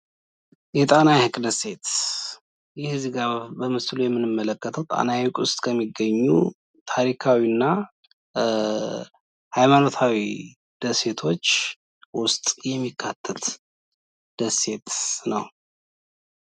የጣና ሃይቅ ደሴት፡ ይህ በምስሉ ላይ የምንመለከተው በጣና ሃይቅ ከሚገኙ ታሪካዊና ሃይማኖታዊ ደሴቶች አንዱ ነው።